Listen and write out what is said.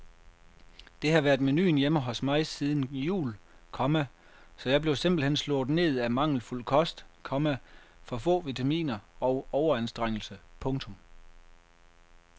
Det har været menuen hjemme hos mig siden jul, komma så jeg blev simpelt hen slået ned af mangelfuld kost, komma for få vitaminer og overanstrengelse. punktum